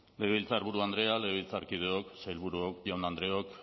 legebiltzarburu andrea legebiltzarkideok sailburuok jaun andreok